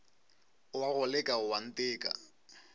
o a go leka oanteka